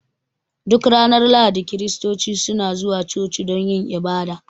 Duk ranar Lahadi Kiristoci suna zuwa coci don yin ibada